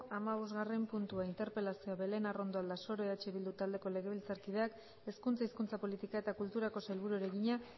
hamabostgarren puntua interpelazioa belén arrondo aldasoro eh bildu taldeko legebiltzarkideak hezkuntza hizkuntza politika eta kulturako sailburuari egina